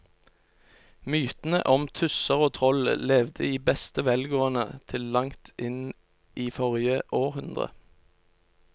Mytene om tusser og troll levde i beste velgående til langt inn i forrige århundre.